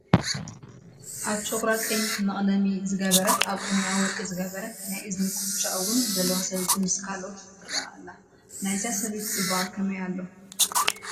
ኣብ ጨጉራ ቀይሕ መቕለሚ ዝገበረት፣ ኣብ ቁኖአ ወርቂ ዝገበረት፣ ናይ እዝኒ ኩትቻ እውን ዘለዋ ሰበይቲ ምስ ካልአይታ ትርአ ኣላ፡፡ ናይዛ ሰበይቲ ፅባቐ ከመይ ኣሎ?